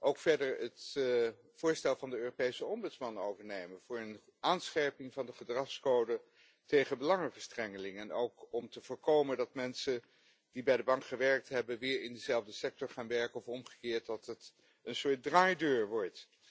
Ook moet het voorstel van de Europese ombudsman worden overgenomen voor een aanscherping van de gedragscode tegen belangenverstrengeling, mede om te voorkomen dat mensen die bij de Bank gewerkt hebben weer in diezelfde sector gaan werken of omgekeerd, dat het een soort draaideur wordt.